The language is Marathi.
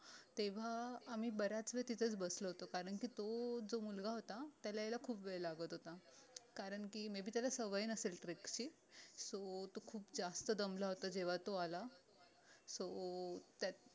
तेव्हा आम्ही बऱ्याच वेळ तिथेच बसलो होतो कारणकी तो जो मुलगा होता त्याला यायला खूप वेळ लागत होता कारणकी maybe त्याला सवय नसेल trek ची so तो खूप जास्त दमला होता जेव्हा तो आला so